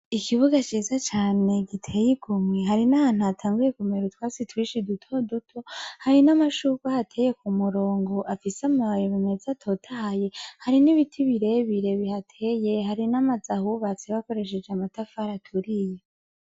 Ikibuga ciza cane gitewemwo hari n'ahantu hatanguye kumera utwatsi duto duto, hari n'amashurwe ahateye k'umurongo afise amababi meza atotahaye, hari n'ibiti birebire bihateye, hari n'amazu ahubatse bakoresheje amatafari aturiye.